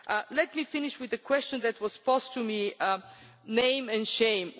Let me finish with the question that was posed to me on name and